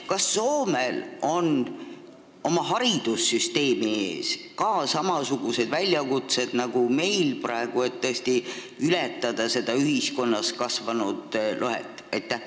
Kas Soomel on oma haridussüsteemi ees samasugused väljakutsed nagu meil praegu, et tõesti ületada seda ühiskonnas kasvanud lõhet?